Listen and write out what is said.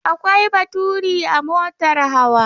Akwai baturi a motar hawa.